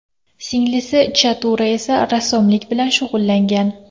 Singlisi Chatura esa rassomlik bilan shug‘ullangan.